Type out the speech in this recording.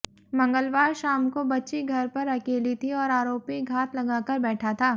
मंगलवार शाम को बच्ची घर पर अकेली थी और आरोपी घात लगाकर बैठा था